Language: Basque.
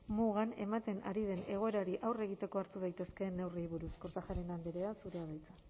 mugan ematen ari den egoerari aurre egiteko hartu daitezkeen neurriei buruz kortajarena andrea zurea da hitza